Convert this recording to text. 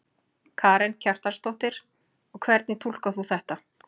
Karen Kjartansdóttir: Og hvernig túlkar þú þetta?